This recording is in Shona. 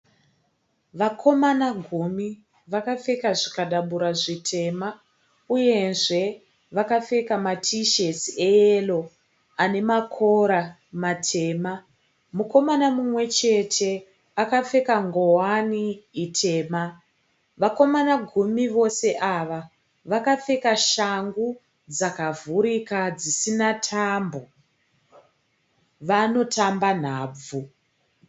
Vakomana gumi vakapfeka zvikadabura zvitema uyezve vakapfeka matishetsi eyero ane makora matema. Mukomana mumwe chete akapfeka ngowani tema. Vakomana gumi vose ava vakapfeka shangu dzakavhurika dzisina tambo. Vanotamba nhabvu.